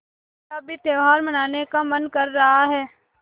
मेरा भी त्यौहार मनाने का मन कर रहा है